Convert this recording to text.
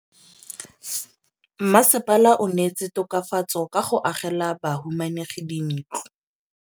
Mmasepala o neetse tokafatsô ka go agela bahumanegi dintlo.